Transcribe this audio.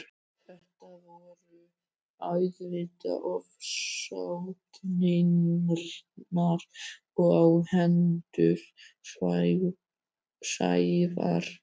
Þetta voru auðvitað ofsóknirnar á hendur Sævari.